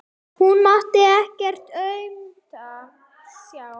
Hún mátti ekkert aumt sjá.